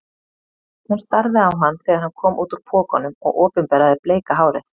Hún starði á hann þegar hann kom út úr pokanum og opinberaði bleika hárið.